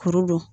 Kuru don